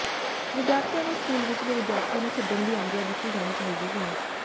ਵਿਦਿਆਰਥੀਆਂ ਨੂੰ ਸਕੂਲ ਵਿਚਲੇ ਵਿਦਿਆਰਥੀਆਂ ਨੂੰ ਛੱਡਣ ਦੀ ਆਗਿਆ ਦਿੱਤੀ ਜਾਣੀ ਚਾਹੀਦੀ ਹੈ